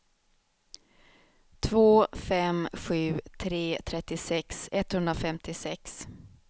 två fem sju tre trettiosex etthundrafemtiosex